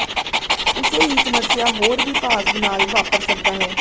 ਉਸੇ ਹੀ ਸਮੱਸਿਆ ਹੋਰ ਵੀ ਭਾਗ ਨਾਲ ਵਾਪਰ ਸਕਦਾ ਹੈ